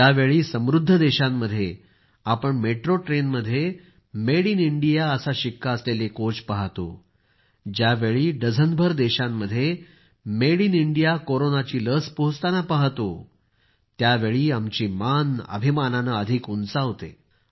ज्यावेळी समृद्ध देशांमध्ये आपण मेट्रो ट्रेनमध्ये मेड इन इंडिया असा शिक्का असलेले कोच पाहतो ज्यावेळी डझनभर देशांमध्ये मेड इन इंडिया कोरोनाची लस पोहोचताना पाहतो त्यावेळी आमची मान अभिमानानं अधिक उंचावते